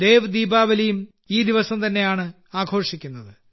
ദേവ് ദീപാവലിയും ഈ ദിവസം തന്നെയാണ് ആഘോഷിക്കുന്നത്